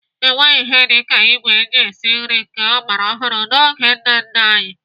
Enweghị ihe dị ka ìgwè eji esi nri nke ọgbara ọhụrụ n'oge nna nna anyị.